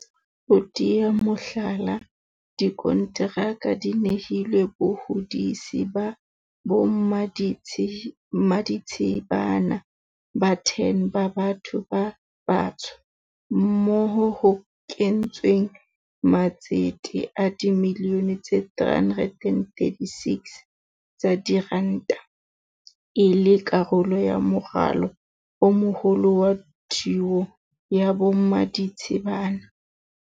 Ho tea mohlala, dikonteraka di nehilwe bahodisi ba bommaditshibana ba 10 ba batho ba batsho moo ho kentsweng matsete a dimilione tse 336 tsa diranta, e le karolo ya moralo o moholo wa thuo ya bommaditshibana.